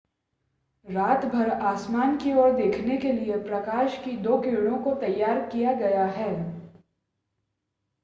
रातभर आसमान की ओर देखने के लिए प्रकाश की दो किरणों को तैयार किया गया है